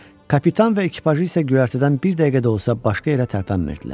Kapitan və ekipajı isə göyərtədən bir dəqiqə də olsa başqa yerə tərpənmirdilər.